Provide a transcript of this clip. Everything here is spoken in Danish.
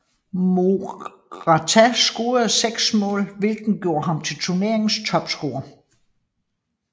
Morata scorede seks mål hvilket gjorde ham til turneringens topscorer